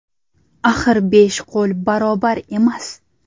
Axir besh qo‘l barobar emas.